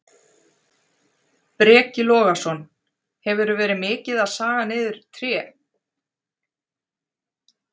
Breki Logason: Hefurðu verið mikið að saga niður tré?